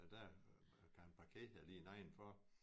Og der kan han parkere lige nedenfor